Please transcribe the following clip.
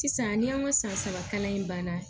Sisan ni an ka san saba kalan in banna